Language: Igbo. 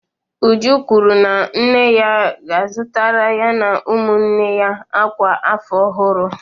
Uju kwuru na nne ya azụtara ya na ụmụnne ya akwa afọ ọhụrụ